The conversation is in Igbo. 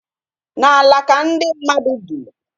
N'ala ka ndị mmadụ bi